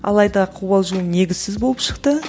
алайда қобалжуым негізсіз болып шықты